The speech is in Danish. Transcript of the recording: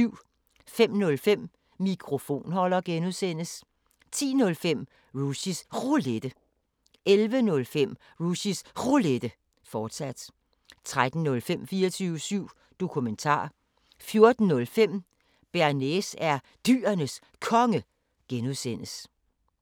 05:05: Mikrofonholder (G) 10:05: Rushys Roulette 11:05: Rushys Roulette, fortsat 13:05: 24syv Dokumentar 14:05: Bearnaise er Dyrenes Konge (G)